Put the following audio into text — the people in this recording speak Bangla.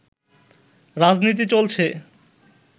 রাজনীতি চলছে